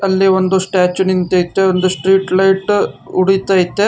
ಇಲ್ಲಿ ಒಂದು ಸ್ಟಾಚ್ಯು ನಿಂತೈತೆ ಒಂದು ಸ್ಟ್ರೀಟ್ ಲೈಟ್ ಉಡಿತೈತೆ.